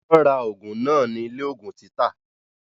Wọ́n ra ògùn náà ní ilé ògùn títà